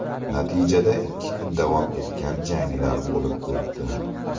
Natijada, ikki kun davom etgan janglar bo‘lib o‘tdi.